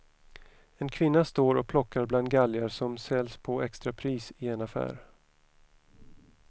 En kvinna står och plockar bland galgar som säljs på extrapris i en affär.